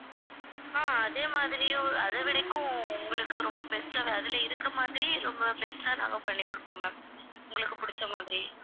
ஆஹ் அதே மாதிரியும் அதவிடைக்கும் உங்களுக்கு ரொம்ப best ஆ அதுல இருக்கிற மாதிரி ரொம்ப best ஆ நாங்க பண்ணி குடுப்போம் ma'am உங்களுக்கு பிடிச்ச மாதிரி